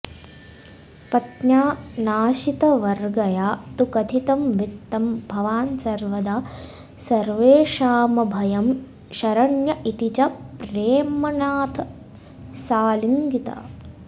पत्न्या नाशितगर्वया तु कथितं वित्तं भवान् सर्वदा सर्वेषामभयं शरण्य इति च प्रेम्णाथ साऽऽलिङ्गिता